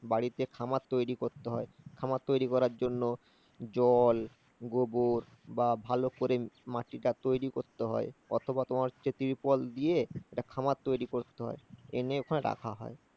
বাড়িতে খামার তৈরি করতে হয়। খামার তৈরি করার জন্য জল, গোবর বা ভালো করে মাটিটা তৈরি করতে হয়। অথবা তোমার হচ্ছে trip well দিয়ে একটা খামার তৈরি করতে হয়, এনে ওখানে রাখা হয়।